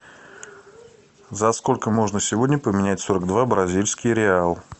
за сколько можно сегодня поменять сорок два бразильский реал